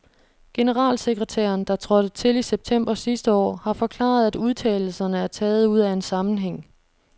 Generalsekretæren, der trådte til i september sidste år, har forklaret, at udtalelserne er taget ud af en sammenhæng.